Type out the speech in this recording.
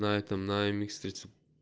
на этом на эмикс третьем